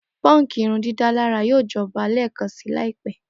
Punk irundidalara yoo jọba lẹẹkansi laipe.